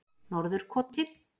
Norðurkoti